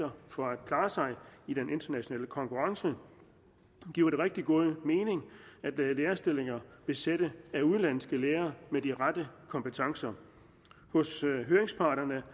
for at klare sig i den internationale konkurrence giver det rigtig god mening at lade lærerstillinger besætte af udenlandske lærere med de rette kompetencer hos høringsparterne